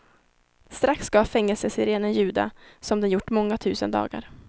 Strax ska fängelsesirenen ljuda som den gjort många tusen dagar.